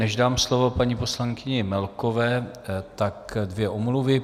Než dám slovo paní poslankyni Melkové, tak dvě omluvy.